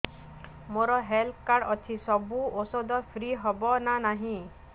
ମୋର health card ଅଛି ସବୁ ଔଷଧ ଫ୍ରି ହବ ନା ନାହିଁ